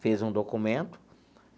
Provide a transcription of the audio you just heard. Fez um documento.